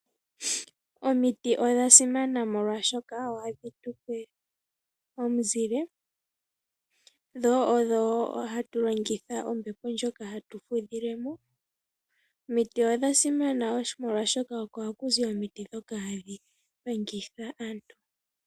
Omiti dha simana molwaashoka ohadhi tupe omuzile, dho odho wo hadhi tupe ombepo ndjoka hatu fudha , miti odha simana molwaashoka oko haku zi omiti dhoka hadhi panga aantu.